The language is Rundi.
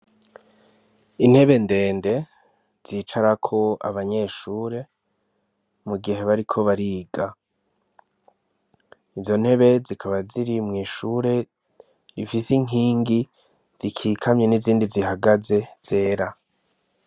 Intebe ndende zicarako abanyeshure mugihe bariko bariga izo ntebe zikaba ziri mw'ishure zifise inkingi zikikamye nizindi zihagaze zera